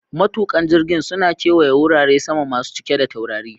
Matukan jirgin suna kewaya wurare sama masu cike da taurari